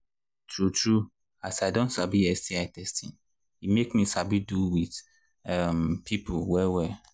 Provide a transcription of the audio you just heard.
true true as i don sabi sti testing e make me sabi do with um people well well